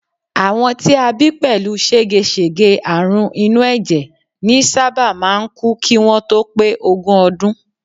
Àwọn tí a bí pẹ̀lú ségesège àrùn inú ẹ̀jẹ̀ ní sábà máà ń kú kí wọ́n tó pé ogún ọdún